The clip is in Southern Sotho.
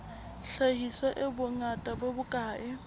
hlahiswa e bongata bo bokae